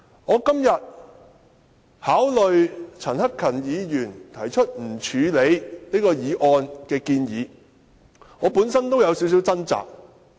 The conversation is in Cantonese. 我今天考慮陳克勤議員提出不處理譴責議案的建議，我本身也有點掙扎。